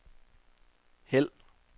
hæld